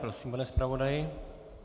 Prosím, pane zpravodaji.